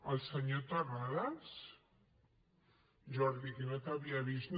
el senyor terrades jordi que no t’havia vist